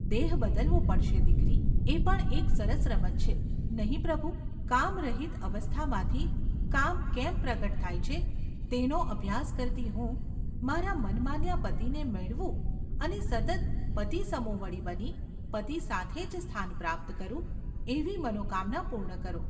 ‘દેહ બદલવો પડશે, દીકરી !’ ‘એ પણ એક સરસ રમત છે, નહિ પ્રભુ ! કામ રહિત અવસ્થામાંથી કામ કેમ પ્રગટ થાય છે તેનો અભ્યાસ કરતી હું મારા મનમાન્યા પતિને મેળવું અને સતત પતિસમોવડી બની પતિ સાથે જ સ્થાન પ્રાપ્ત કરું એવી મનોકામના પૂર્ણ કરો.